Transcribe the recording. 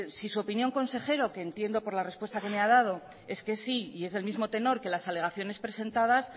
si su opinión consejero que entiendo por la respuesta que me ha dado es que sí y es el mismo tenor que las alegaciones presentadas